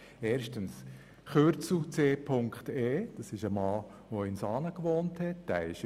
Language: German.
Erstens das Kürzel «C. E.»: Dieses steht für einen Mann, der in Saanen gewohnt hat.